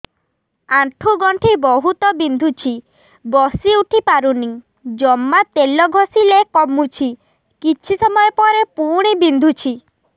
ଆଣ୍ଠୁଗଣ୍ଠି ବହୁତ ବିନ୍ଧୁଛି ବସିଉଠି ପାରୁନି ଜମା ତେଲ ଘଷିଲେ କମୁଛି କିଛି ସମୟ ପରେ ପୁଣି ବିନ୍ଧୁଛି